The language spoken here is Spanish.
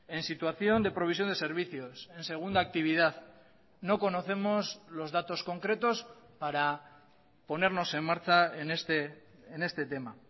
en situación de provisión de servicios en segunda actividad no conocemos los datos concretos para ponernos en marcha en este tema